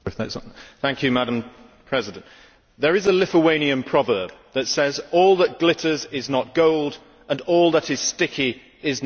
Madam President, there is a Lithuanian proverb that says all that glitters is not gold, and all that is sticky is not tar'.